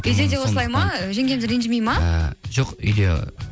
үйде де осылай ма жеңгеміз ренжімейді ме ы жоқ үйде